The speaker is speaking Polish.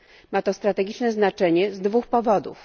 Ma to strategiczne znaczenie z dwóch powodów.